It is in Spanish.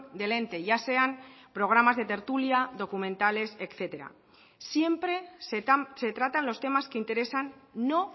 del ente ya sean programas de tertulia documentales etcétera siempre se tratan los temas que interesan no